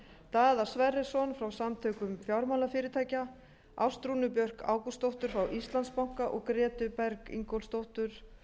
daða sverrisson frá samtökum fjármálafyrirtækja ástrúnu björk ágústsdóttur frá íslandsbanka og grétu berg ingólfsdóttur